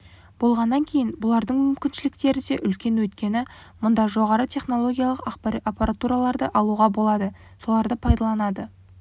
болғаннан кейін бұлардың мүмкіншіліктері де үлкен өйткені мұнда жоғары технологиялық аппаратураларды алуға болады соларды пайдаланады